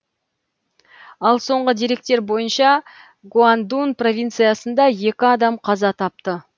ал соңғы деректер бойынша гуандун провинциясында екі адам қаза тапты